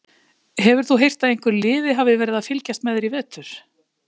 Hefur þú heyrt að einhver liði hafi verið að fylgjast með þér í vetur?